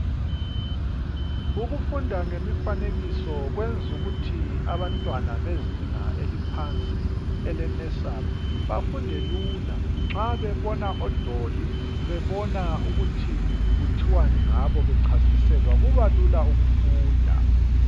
Ukufunda ngemifanekiso kwenzukuthi abantwana bezinga eliphansi ele nursery bafunde lula nxa bebona odoli, bebona ukuthi kuthiwani ngabo bechasiselwa kuba lula ukufunda.